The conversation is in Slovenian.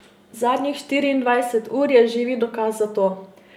Zadnjih štiriindvajset ur je živi dokaz za to.